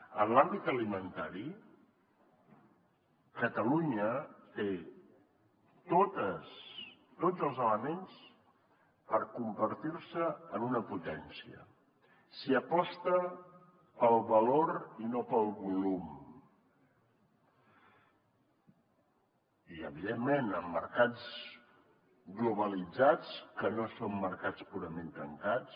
en l’àmbit alimentari catalunya té tots els elements per convertir se en una potència si aposta pel valor i no pel volum i evidentment en mercats globalitzats que no són mercats purament tancats